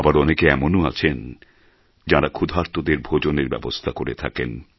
আবার অনেকে এমনও আছেন যাঁরা ক্ষুধার্তদের ভোজনের ব্যবস্থা করে থাকেন